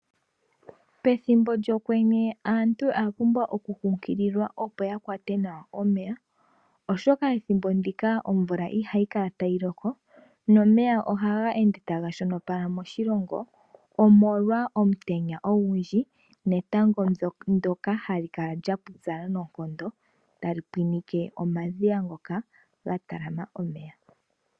Pethimbo lyokwenye aantu oya pumbwa oku nkukililwa, opo yakwate nawa omeya oshoka ethimbo ndika omvula ihayi kala tayi loko. Omeya ohaga ende taga shonopala moshilongo omolwa omutenya ogundji netango ndyoka hali kala lyapupyala noonkondo tali pwinike omadhiya ngoka gatalama omeya.